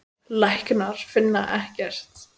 Læknar finna ekkert.